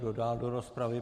Kdo dál do rozpravy?